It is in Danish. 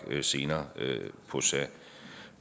senere